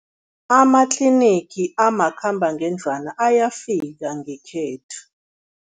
Amatlinigi amakhambangendlwana ayafika ngekhethu.